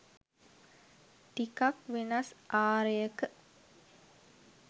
ටිකක් වෙනස් ආරයක